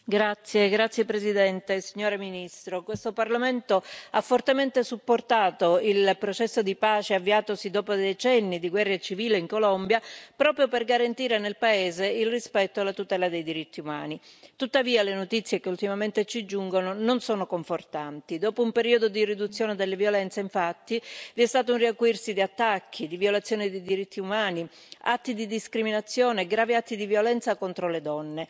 Signor Presidente, signora ministro, onorevoli colleghi, questo Parlamento ha fortemente supportato il processo di pace avviatosi dopo decenni di guerra civile in Colombia, proprio per garantire nel paese il rispetto e la tutela dei diritti umani. Tuttavia le notizie che ultimamente ci giungono non sono confortanti. Dopo un periodo di riduzione delle violenze, infatti, vi è stato un riacuirsi di attacchi, di violazioni dei diritti umani, atti di discriminazione, gravi atti di violenza contro le donne.